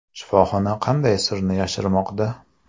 Shifoxona qanday sirni yashirmoqda?